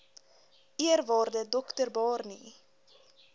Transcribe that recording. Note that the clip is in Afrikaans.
eerwaarde dr barney